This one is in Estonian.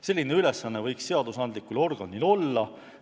Selline ülesanne võiks seadusandlikul organil olla.